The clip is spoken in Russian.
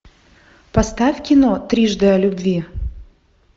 поставь кино трижды о любви